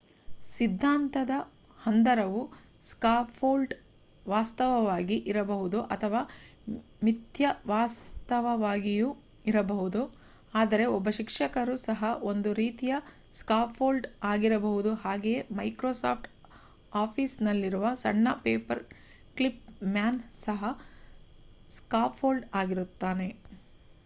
ಸಿದ್ಧಾಂತದ ಹಂದರವು ಸ್ಕಾಫೋಲ್ಡ್ ವಾಸ್ತವವಾಗಿ ಇರಬಹುದು ಅಥವಾ ಮಿಥ್ಯವಾಸ್ತವವಾಗಿಯೂ ಇರಬಹುದು ಅಂದರೆ ಒಬ್ಬ ಶಿಕ್ಷಕರು ಸಹ ಒಂದು ರೀತಿಯ ಸ್ಕಾಫೋಲ್ಡ್ ಆಗಿರಬಹುದು ಹಾಗೆಯೇ ಮೈಕ್ರೋಸಾಫ್ಟ್ ಆಫೀಸ್ ನಲ್ಲಿರುವ ಸಣ್ಣ ಪೇಪರ್ ಕ್ಲಿಪ್ ಮ್ಯಾನ್ ಸಹ ಸ್ಕಾಫೋಲ್ಡ್ ಆಗಿರುತ್ತಾನೆ